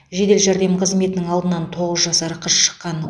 жедел жәрдем қызметінің алдынан тоғыз жасар қыз шыққан